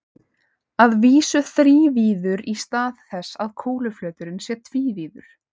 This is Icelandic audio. Að vísu þrívíður í stað þess að kúluflöturinn sé tvívíður.